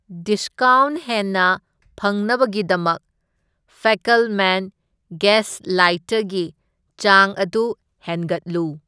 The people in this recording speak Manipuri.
ꯗꯤꯁꯀꯥꯎꯟꯠ ꯍꯦꯟꯅ ꯐꯪꯅꯕꯒꯤꯗꯃꯛ ꯐꯦꯀꯜꯃꯦꯟ ꯒꯦꯁ ꯂꯥꯏꯇꯔꯒꯤ ꯆꯥꯡ ꯑꯗꯨ ꯍꯦꯟꯒꯠꯂꯨ꯫